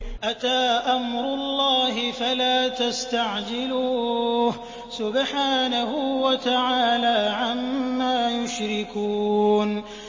أَتَىٰ أَمْرُ اللَّهِ فَلَا تَسْتَعْجِلُوهُ ۚ سُبْحَانَهُ وَتَعَالَىٰ عَمَّا يُشْرِكُونَ